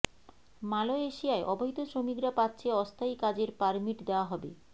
মালয়েশিয়ায় অবৈধ শ্রমিকরা পাচ্ছে অস্থায়ী কাজের পারমিট দেয়া হবে